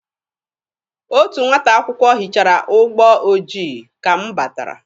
Otu nwata akwụkwọ hichara ụgbọ ojii ka m batara.